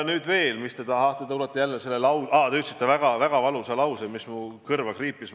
Te ütlesite veel ühe väga valusa lause, mis muidugi mu kõrva kriipis.